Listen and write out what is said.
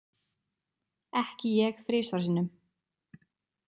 Ekki ég þrisvar sinnum.